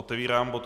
Otevírám bod